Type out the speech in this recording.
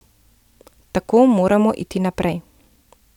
Tako moramo iti naprej.